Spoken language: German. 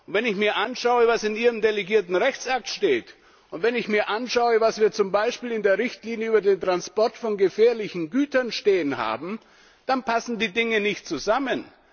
Wenn ich mir anschaue, was in Ihrem delegierten Rechtsakt steht, und wenn ich mir anschaue, was wir zum Beispiel in der Richtlinie über den Transport von gefährlichen Gütern stehen haben, dann passen die Dinge nicht zusammen.